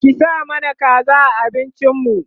ki sa mana kaza a abincin mu